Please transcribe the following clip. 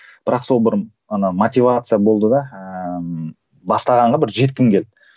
бірақ сол бір ана мотивация болды да ыыы бастағанға бір жеткім келді